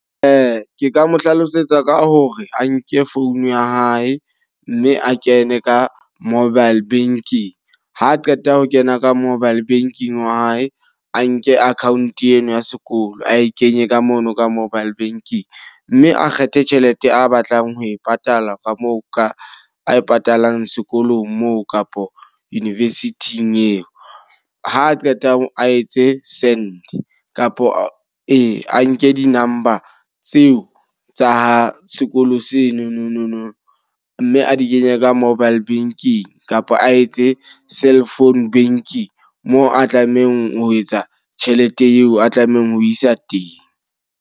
Ke ka mo hlalosetsa ka hore a nke phone ya hae. Mme a kene ka mobile banking. Ha qeta ho kena ka mobile banking wa hae, a nke account eno ya sekolo ee kenye ka mona ka mobile banking. Mme a kgethe tjhelete a batlang ho e patala ka moo ka a e patalang sekolong moo kapo university-ing eo ha a qeta ho a etse send. Kapo e a nke di-number tseo tsa sekolo seno nonono mme a di kenye ka mobile banking. Kapa a etse cell phone banking moo a tlamehang ho etsa tjhelete eo, a tlamehang ho isa teng.